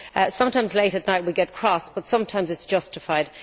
Sometimes late at night we get cross, but sometimes it is justified.